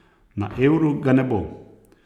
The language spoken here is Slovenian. Na euru ga ne bo.